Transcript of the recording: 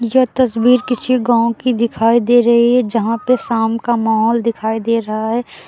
यह तस्वीर किसी गांव की दिखाई दे रही है जहां पे शाम का माहौल दिखाई दे रहा है।